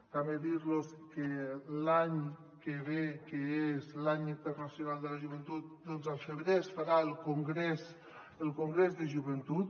també dir los que l’any que ve que és l’any internacional de la joventut al febrer es farà el congrés de joventut